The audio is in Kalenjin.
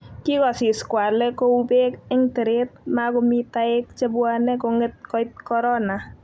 kikosis kwale ko u pek eng teret makomi taek chebwane konget koit korona